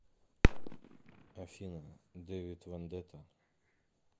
афина дэвид вендетта